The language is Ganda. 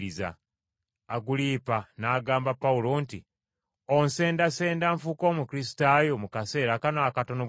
Agulipa n’agamba Pawulo nti, “Onsendasenda nfuuke Omukristaayo mu kaseera kano akatono bwe kati?”